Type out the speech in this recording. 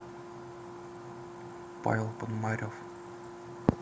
павел пономарев